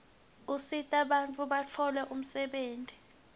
usita bantfu batfole umsebenti